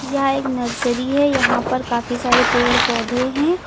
यह एक नर्सरी है यहां पर काफी सारे पेड़ पौधे हैं।